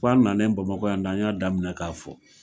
Fo an nanen Bamakɔ yan de an y'a daminɛ k'a fɔ.